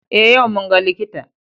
Eh yau mun ga likita.